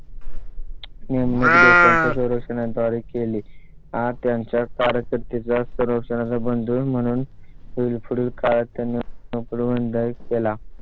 नेमणूक देशांच्या संरक्षण तयारी केली आहे. त्यांच्या पार करते जास्त रोशन बंद होईल म्हणून होईल. पुढील काळात त्यांनी पकडून जाय केला.